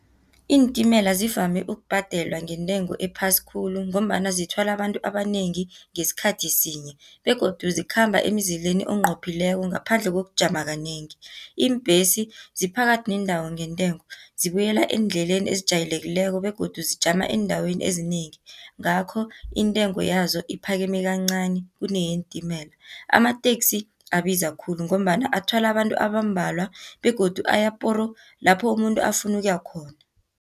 Iintimela zivame ukubhadelwa ngentengo ephasi khulu, ngombana zithwala abantu abanengi ngesikhathi sinye, begodu zikhamba emzileni enqophileko ngaphandle kokujama kanengi. Iimbhesi ziphakathi nendawo ngentengo, zibuyela eendleleni ezijayelekileko, begodu zijama eendaweni ezinengi. Ngakho intengo yazo iphakeme kancani kuneyeentimela. Amateksi abiza khulu, ngombana athwala abantu abambalwa, begodu aya poro! lapho umuntu afuna ukuya khona.